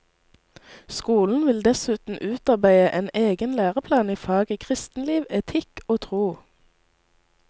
Skolen vil dessuten utarbeide en egen læreplan i faget kristenliv, etikk og tro.